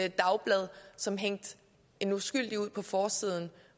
et dagblad som hængte en uskyldig ud på forsiden